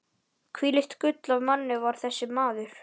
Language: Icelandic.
Hvílíkt gull af manni var þessi maður!